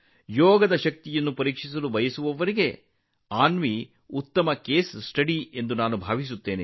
ಯೋಗದ ಶಕ್ತಿಯನ್ನು ಪರೀಕ್ಷಿಸಲು ಬಯಸುವವರಿಗೆ ಅನ್ವಿ ಉತ್ತಮ ಕೇಸ್ ಸ್ಟಡಿ ಎಂದು ನಾನು ಭಾವಿಸುತ್ತೇನೆ